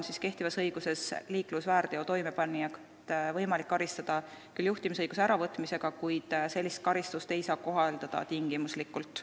Kehtiva õiguse järgi on liiklusväärteo toimepanijat võimalik karistada küll juhtimisõiguse äravõtmisega, kuid sellist karistust ei saa kohaldada tingimuslikult.